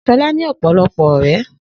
Shola ní ọ̀pọ̀lọpọ̀ ọ̀rẹ́